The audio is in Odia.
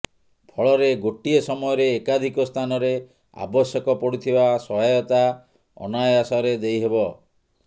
ଫଳରେ ଗୋଟିଏ ସମୟରେ ଏକାଧିକ ସ୍ଥାନରେ ଆବଶ୍ୟକ ପଡ଼ୁଥିବା ସହାୟତା ଅନାୟାସରେ ଦେଇ ହେବ